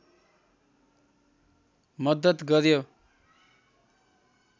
मद्दत गर्‍यो